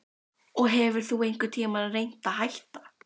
Hödd: Og hefur þú einhvern tímann reynt að hætta?